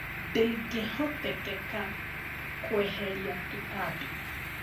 Ndĩngĩhotekeka kweheria tũtambi